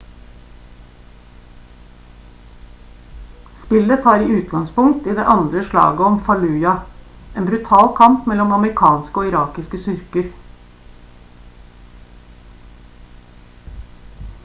spillet tar utgangspunkt i det andre slaget om fallujah en brutal kamp mellom amerikanske og irakiske styrker